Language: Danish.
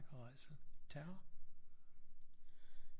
Og rædsel terror